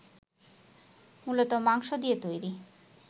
মূলত মাংস দিয়ে তৈরি